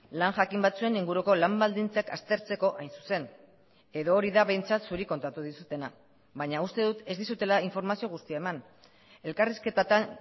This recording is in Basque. lan jakin batzuen inguruko lan baldintzak aztertzeko hain zuzen edo hori da behintzat zuri kontatu dizutena baina uste dut ez dizutela informazio guztia eman elkarrizketatan